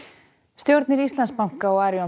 stjórnir Íslandsbanka og Arion